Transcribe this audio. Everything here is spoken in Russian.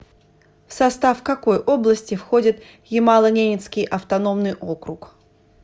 в состав какой области входит ямало ненецкий автономный округ